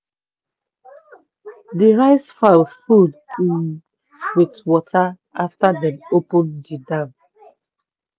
di rice farm full um with water after dem open the dam.